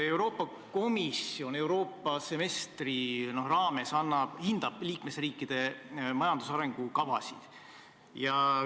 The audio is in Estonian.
Euroopa Komisjon hindab semestrite kaupa liikmesriikide majandusarengu kavasid.